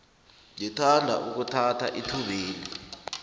ngithanda ukuthatha ithubeli